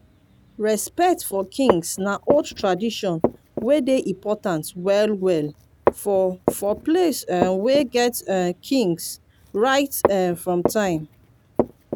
respect for kings na old tradition wey dey important well well for for places um wey get um kings right um from time